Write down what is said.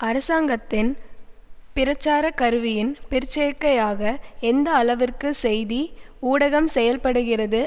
அரசாங்கத்தின் பிரச்சார கருவியின் பிற்சேற்கையாக எந்த அளவிற்கு செய்தி ஊடகம் செயல்படுகிறது